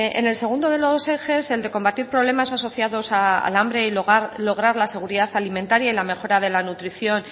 en el segundo de los ejes el de combatir problemas asociados al hambre y lograr la seguridad alimentaria y la mejora de la nutrición